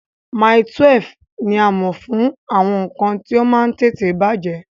Mile 12 ní a mọ̀ fún àwọn nǹkan tí ó máa ń tètè bàjẹ́